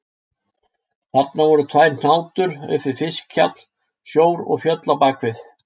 Þarna voru tvær hnátur upp við fiskhjall, sjór og fjöll á bak við.